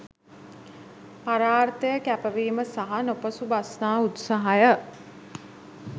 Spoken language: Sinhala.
පරාර්ථය කැපවීම සහ නොපසුබස්නා උත්සාහය